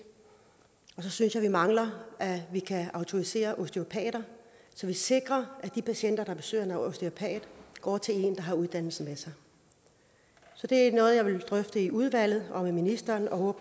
så synes jeg vi mangler at vi kan autorisere osteopater så vi sikrer at de patienter der besøger en osteopat går til en der har uddannelsen med sig så det er noget jeg vil drøfte i udvalget og med ministeren og